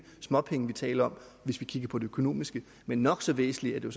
småpenge vi taler om hvis vi kigger på det økonomiske men nok så væsentligt er jo